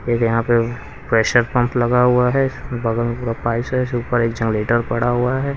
यहां पे pressure pump लगा हुआ है बगल में पूरा पाइप सा इस ऊपर एक जनरेटर पड़ा हुआ है।